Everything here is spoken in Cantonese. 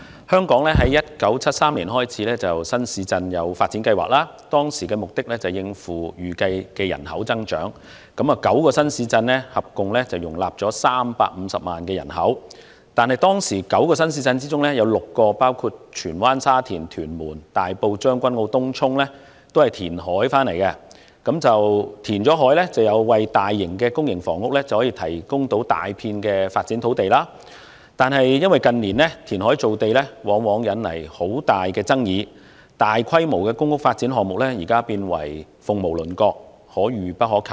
香港於1973年開展新市鎮發展計劃，目的是為了應付預計的人口增長，當時有9個新市鎮，合共容納了350萬人口。在9個新市鎮當中 ，6 個是由填海得來的，為大型公營房屋提供了大片發展土地。不過，近年填海造地往往引來極大爭議，大規模的公屋發展項目變成鳳毛麟角，可遇不可求。